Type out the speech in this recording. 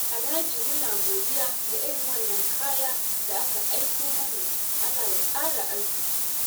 Alhaji muna godiya da irin wannan kaya da aka aiko mana, Allah ya ƙara arziƙi.